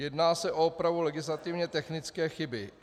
Jedná se o opravu legislativně technické chyby.